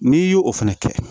N'i y'o fana kɛ